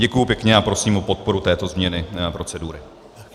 Děkuji pěkně a prosím o podporu této změny procedury.